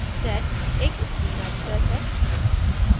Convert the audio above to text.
sed एक stream editor है